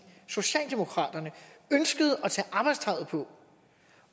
socialdemokraterne ønskede at tage arbejdstøjet på